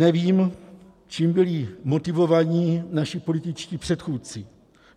Nevím, čím byli motivováni naši političtí předchůdci,